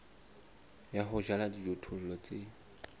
ya ho jala dijothollo tse